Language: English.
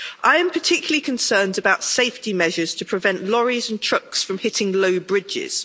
I am particularly concerned about safety measures to prevent lorries and trucks from hitting low bridges.